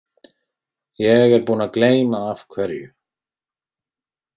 Ég er búinn að gleyma af hverju.